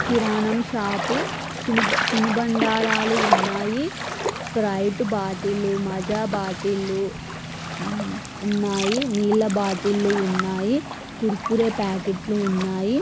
కిరాణం షాపు . చిను తినుబండారాలు ఉన్నాయి. స్ప్రైట్ బాటిలు మజా బాటిలు హ్మ్ ఉన్నాయి. నీళ్ల బాటిలు ఉన్నాయి. కుర్కురే ప్యాకెట్ లు ఉన్నాయి.